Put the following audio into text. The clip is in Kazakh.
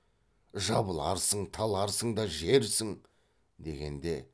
жабыларсың таларсың да жерсің дегенде